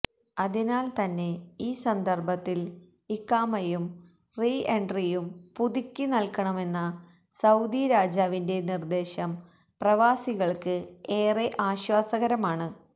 അതിനാൽ തന്നെ ഈ സന്ദർഭത്തിൽ ഇഖാമയും റീ എൻട്രിയും പുതുക്കിനൽകണമെന്ന സൌദി രാജാവിന്റെ നിർദ്ദേശം പ്രവാസികൾക്ക് ഏറെ ആശ്വാസകരമാണ്